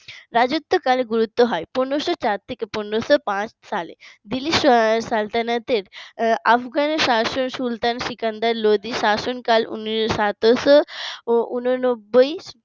রাজত্বকাল গুরুত্ব হয় পনেরো শো চার থেকে পনেরো শো পাঁচ সালে দিল্লি সালতানাতের আফগানের সুলতান সিকান্দার লোধি শাসন কাল সতেরোশো উন নব্বই